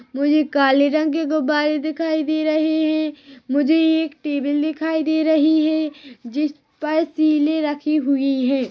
मुझे काले रंग के गुब्बारे दिखाई दे रहे है मुझे ये एक टेबल दिखाई दे रही है जिस पर शीले रखी हुई है।